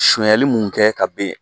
Sunyali mun kɛ ka ben